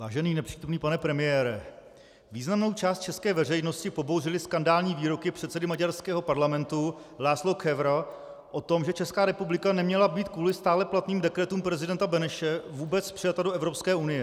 Vážený nepřítomný pane premiére, významnou část české veřejnosti pobouřily skandální výroky předsedy maďarského parlamentu László Kövéra o tom, že Česká republika neměla být kvůli stále platným dekretům prezidenta Beneše vůbec přijata do Evropské unie.